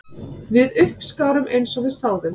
Við uppskárum eins og við sáðum